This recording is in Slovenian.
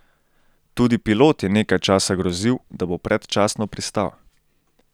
Tudi pilot je nekaj časa grozil, da bo predčasno pristal.